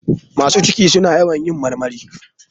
Masu ciki suna yawan marmari.